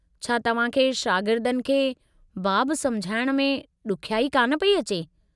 छा तव्हां खे शागिर्दनि खे बाब समुझाइण में ॾुखियाई कान पई अचे?